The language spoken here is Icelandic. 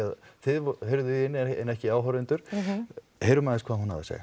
að þið heyrðuð í henni en ekki áhorfendur heyrum aðeins hvað hún hafði að segja